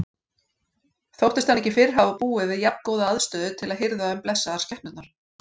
Þóttist hann ekki fyrr hafa búið við jafngóða aðstöðu til að hirða um blessaðar skepnurnar.